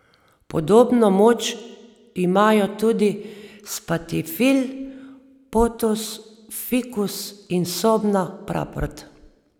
Podobno moč imajo tudi spatifil, potos, fikus in sobna praprot.